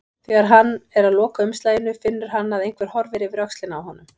Þegar hann er að loka umslaginu finnur hann að einhver horfir yfir öxlina á honum.